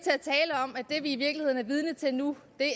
jeg vi i virkeligheden er vidne til nu